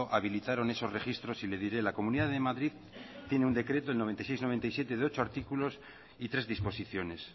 habilitaron esos registros y le diré la comunidad de madrid tiene un decreto el noventa y seis barra noventa y siete de ocho artículos y tres disposiciones